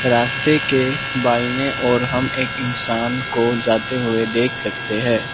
रास्ते के बायने ओर हम एक इंसान को जाते हुए देख सकते हैं।